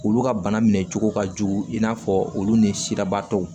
Olu ka bana minɛ cogo ka jugu i n'a fɔ olu ni sirabaatɔw